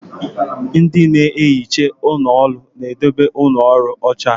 Ndị na-ehicha ụlọ ọrụ na-edobe ụlọ ọrụ ọcha.